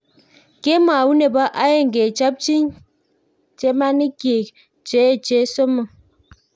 Kemout nebo aeng kechopchi chemanik kyik cheeechen somok